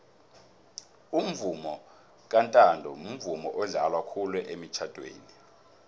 umvomo kantanto mvumo odlalwa khulu emitjhadweni